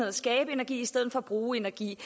at skabe energi i stedet for at bruge energi